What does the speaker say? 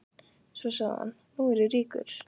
Svo sagði hann: Nú er ég ríkur.